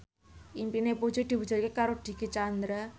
impine Puji diwujudke karo Dicky Chandra